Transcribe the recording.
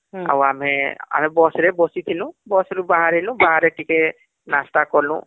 ହୁଁ ଆମେ bus ରେ ବସିଥିନୁ bus ରୁ ବାହାରିଲୁ , ବାହାରେ ଟିକେ ନାଶ୍ତା କଲୁ